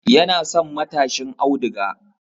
Yana son matashin auduga